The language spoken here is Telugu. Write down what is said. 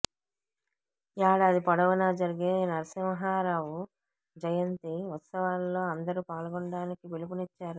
ఏడాది పొడవునా జరిగే నరసింహారావు జయంతి ఉత్సవాల్లో అందరూ పాల్గొనాలని పిలుపునిచ్చారు